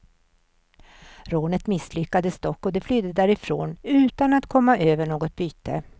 Rånet misslyckades dock och de flydde därifrån utan att komma över något byte.